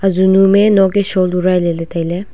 zunuam me nok ke shawl urai lele taile.